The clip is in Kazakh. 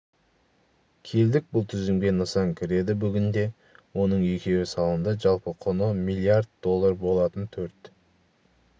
келдік бұл тізімге нысан кіреді бүгінде оның екеуі салынды жалпы құны млрд доллар болатын төрт